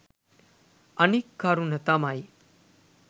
අනික් කරුණ තමයි